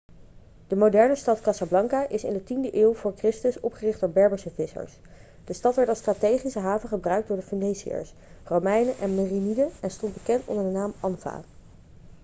de moderne stad casablanca is in de 10e eeuw voor christus opgericht door berberse vissers de stad werd als strategische haven gebruikt door de feniciërs romeinen en meriniden en stond bekend onder de naam anfa